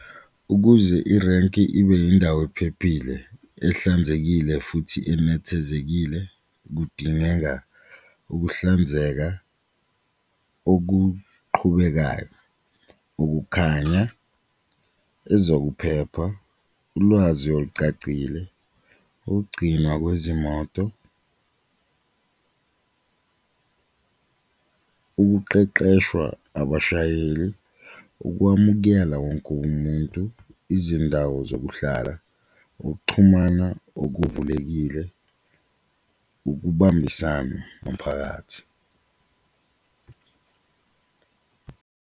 Ukuze irenki ibe indawo ephephile, ehlanzekile futhi enethezekile kudingeka ukuhlanzeka okuqhubekayo, ukukhanya, ezokuphepha, ulwazi olucacile, ukugcinwa kwezimoto, ukuqeqeshwa abashayeli, ukwamukela wonke umuntu, izindawo zokuhlala, ukuxhumana okuvulekile, ukubambisana nomphakathi.